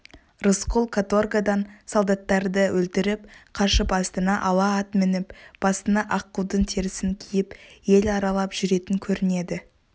рысқұл каторгадан солдаттарды өлтіріп қашып астына ала ат мініп басына аққудың терісін киіп ел аралап жүретін көрінеді